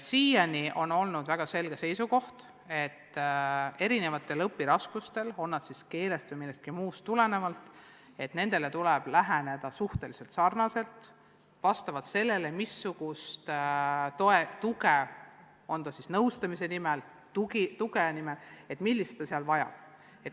Siiani on olnud väga selge seisukoht, et erinevatele õpiraskustele, tulenegu need siis keelest või millestki muust, tuleb läheneda suhteliselt sarnaselt, aga vastavalt sellele, missugust tuge laps vajab.